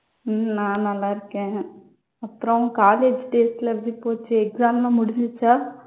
உம் நான் நல்லா இருக்கேன். அப்புறம் college days எல்லாம் எப்படி போச்சு, exam எல்லாம் முடிஞ்சிருச்சா?